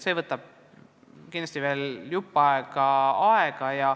See võtab kindlasti veel jupp aega.